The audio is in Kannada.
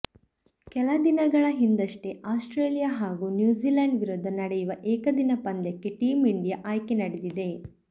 ಕೆಲ ದಿನಗಳ ಹಿಂದಷ್ಟೆ ಆಸ್ಟ್ರೇಲಿಯಾ ಹಾಗೂ ನ್ಯೂಜಿಲ್ಯಾಂಡ್ ವಿರುದ್ಧ ನಡೆಯುವ ಏಕದಿನ ಪಂದ್ಯಕ್ಕೆ ಟೀಂ ಇಂಡಿಯಾ ಆಯ್ಕೆ ನಡೆದಿದೆ